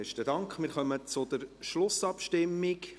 Wir kommen zur Schlussabstimmung.